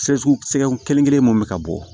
Sɛsi sɛgɛn kelen kelen mun bɛ ka bɔ